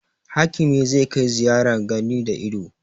Hakimi za kai ziyarar gani da ido